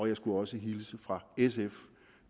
jeg skulle også hilse fra sf